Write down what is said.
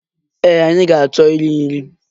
Ee, anyị ga-achọ iri nri.